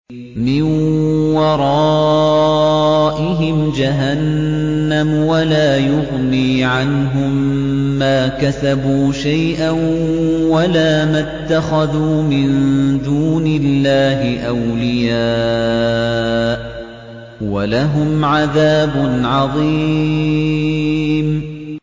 مِّن وَرَائِهِمْ جَهَنَّمُ ۖ وَلَا يُغْنِي عَنْهُم مَّا كَسَبُوا شَيْئًا وَلَا مَا اتَّخَذُوا مِن دُونِ اللَّهِ أَوْلِيَاءَ ۖ وَلَهُمْ عَذَابٌ عَظِيمٌ